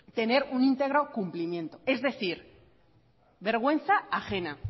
tener un íntegro cumplimento es decir vergüenza ajena